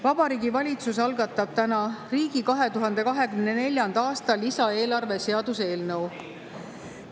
Vabariigi Valitsus algatab täna riigi 2024. aasta lisaeelarve seaduse eelnõu.